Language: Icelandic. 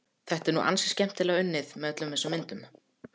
Þetta er nú ansi skemmtilega unnið, með öllum þessum myndum.